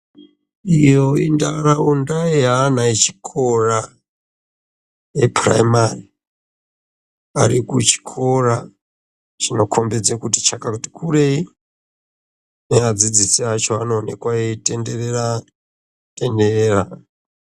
Iyo intaraunda yeana echikora epuraimari ari kuchikora, chinokombedze kuti chakati kurei, neadzidzisi acho anoonekwa eyitenderera tenderera.